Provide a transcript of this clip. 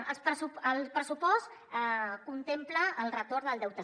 ens diuen el pressupost contempla el retorn del deute